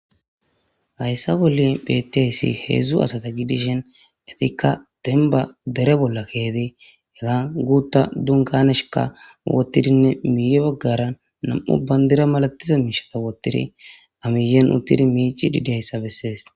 hayssa bolli beetteyssi heedzdzu asata gidishen etikka denba dere bolla keeti ega guutta dunkaneshika wottidinne miiye baggaran nam7u bandira malatiza miishata woottiri amiyen uttidi miici didiayssabessees